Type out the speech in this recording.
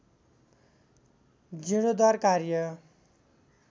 जीर्णोद्धार कार्य